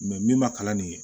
min ma kalan nin ye